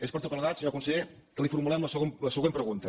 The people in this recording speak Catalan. és per tot plegat senyor conseller que li formulem la següent pregunta